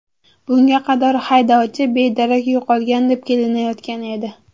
Bunga qadar haydovchi bedarak yo‘qolgan deb kelinayotgan edi.